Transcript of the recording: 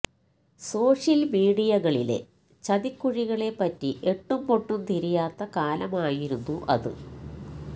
social മീഡിയകളിലെ ചതിക്കുഴികളെ പറ്റി എട്ടും പൊട്ടും തിരിയാത്ത കാലമായിരുന്നു അത്